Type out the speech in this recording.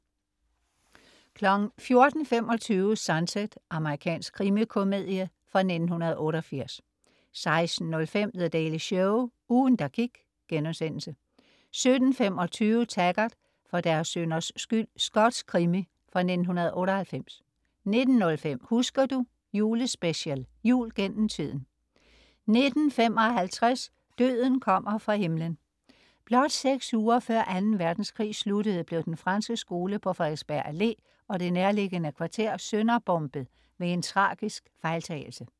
14.25 Sunset. Amerikansk krimikomedie fra 1988 16.05 The Daily Show. Ugen, der gik* 17.25 Taggart: For deres synders skyld. Skotsk krimi fra 1998 19.05 Husker du? Julespecial. "Jul gennem tiden" 19.55 Døden kommer fra himlen. Blot seks uger før Anden Verdenskrig sluttede, blev Den Franske Skole på Frederiksberg Allé og det nærliggende kvarter sønderbombet ved en tragisk fejltagelse